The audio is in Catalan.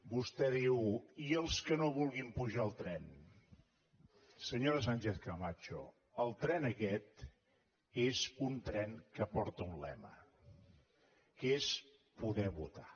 vostè diu i els que no vulguin pujar al tren senyora sánchez camacho el tren aquest és un tren que porta un lema que és poder votar